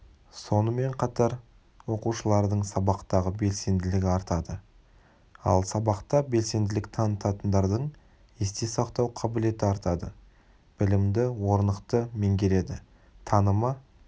сонымен қатар оқушылардың сабақтағы белсенділігі артады ал сабақта белсенділік танытатындардың есте сақтау қабілеті артады білімді орнықты меңгереді танымы